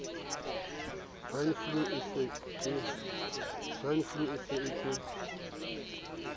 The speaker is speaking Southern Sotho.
swine flu e se ke